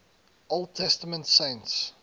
old testament saints